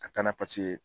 Ka taa na paseke